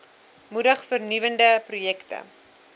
moedig vernuwende projekte